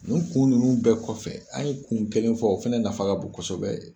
Nin kun ninnu bɛɛ kɔfɛ an ye kun kelen fɔ o fana nafa ka bon kosɛbɛ.